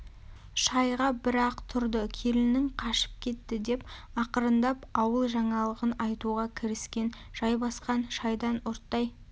шайға бір-ақ тұрды келінің қашып кетті деп ақырындап ауыл жаңалығын айтуға кіріскен жайбасқан шайдан ұрттай